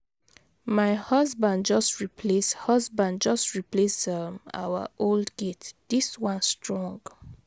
My husband just replace husband just replace um our old gate. Dis one strong.